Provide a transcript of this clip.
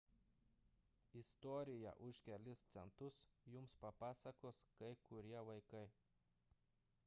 istoriją už kelis centus jums papasakos kai kurie vaikai